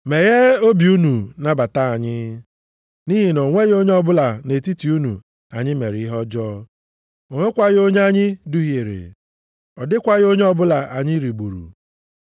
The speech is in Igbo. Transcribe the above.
Megheenụ obi unu nabata anyị, nʼihi na o nweghị onye ọbụla nʼetiti unu anyị mere ihe ọjọọ. O nwekwaghị onye anyị duhiere. Ọ dịkwaghị onye ọbụla anyị rigburu.